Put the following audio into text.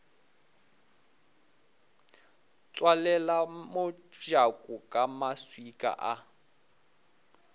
tswalela mojako ka maswika a